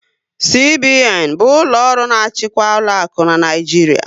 CBN bụ ụlọ ọrụ na-achịkwa ụlọakụ n'Naijiria